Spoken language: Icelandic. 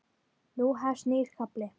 Nú hefst nýr kafli.